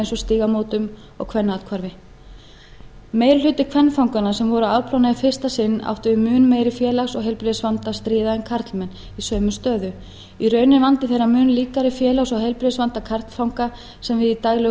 eins og stígamótum og kvennaathvarfi meiri hluti kvenfanganna sem voru að afplána í fyrsta sinn áttu við mun meiri félags og heilbrigðisvanda að stríða en karlmenn í sömu stöðu í raun er vandi þeirra mun líkari félags og heilbrigðisvanda karlfanga sem við í daglegu